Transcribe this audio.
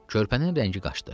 Körpənin rəngi qaçdı.